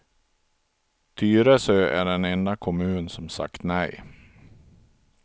Tyresö är den enda kommun som sagt nej.